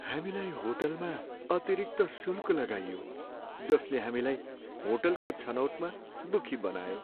हामीलाई होटलमा अतिरिक्त शुल्क लगाइयो, जसले हामीलाई होटलको छनौटमा दुखी बनायो।